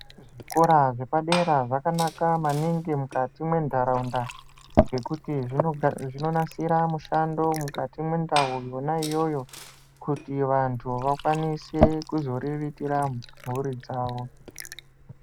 Zvikora zvepadera zvakanaka maningi mukati mwenharaunda ngekuti zvinonasira mishando mukati mwendau yona iyoyo kuti vantu vakwanise kuzoriritira mhuri dzavo .